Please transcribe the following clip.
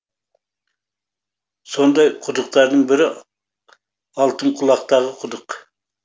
сондай құдықтардың бірі алтынқұлақтағы құдық